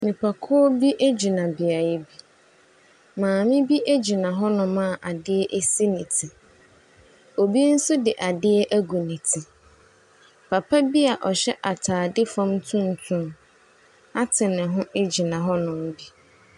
Nipakuo bi gyina beaeɛ bi. Maame bi gyina hɔnom a adeɛ si ne ti. Obi nso de adeɛ agu ne ti. Papa bi a ɔhyɛ atadeɛ fam tuntum ate ne ho gyina hɔnom bi.